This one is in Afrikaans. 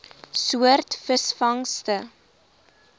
soort visvangste